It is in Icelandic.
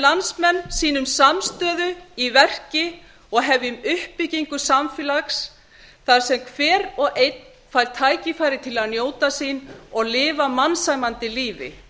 landsmenn sýnum samstöðu í verki og hefjum uppbyggingu samfélags þar sem hver og einn fær tækifæri til að njóta sín og lifa mannsæmandi lífi